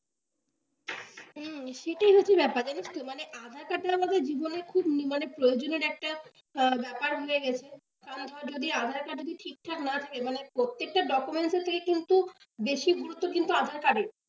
হম সেটাই হচ্ছে ব্যাপার জানিস তো, মানে aadhaar card টা আমাদের জীবনের খুবই মানে প্রয়োজনের একটা ব্যাপার হয়ে গেছে তারপর যদি aadhaar card এ যদি ঠিকঠাক না থাকে মানে প্রত্যেকটা documents এর থেকে কিন্তু বেশি গুরুত্ব কিন্তু aadhaar card এর,